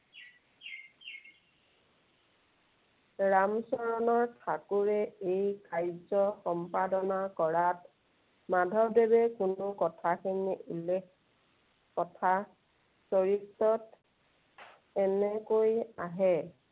ৰামচৰণ ঠাকুৰে এই কাৰ্য সম্পাদনা কৰাত মাধৱদেৱে কোনো কথাখিনি উল্লেখ কথাচৰিতত এনেকৈ আহে।